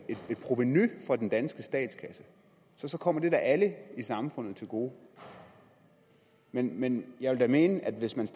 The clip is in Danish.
provenu for den danske statskasse kommer det da alle i samfundet til gode men men jeg vil da mene at hvis man